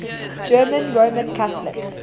german roman catholic